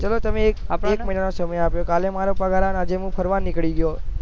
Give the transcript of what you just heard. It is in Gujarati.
ચલો તમે એક મહિના નો સમય આપ્યો કાલે મારો પગાર આવ્યો અને આજે હું ફરવા નીકળી ગયો